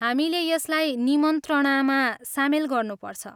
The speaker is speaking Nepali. हामीले यसलाई निमन्त्रणामा सामेल गर्नुपर्छ।